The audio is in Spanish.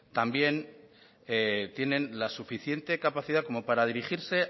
también tienen la suficiente capacidad como para dirigirse